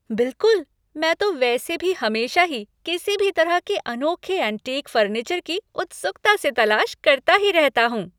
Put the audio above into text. बिलकुल! मैं तो वैसे भी हमेशा ही किसी भी तरह के अनोखे एंटीक फर्नीचर की उत्सुकता से तलाश करता ही रहता हूँ।